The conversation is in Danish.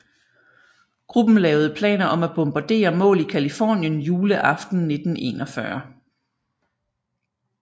Gruppen lavede planer om at bombardere mål i Californien juleaften 1941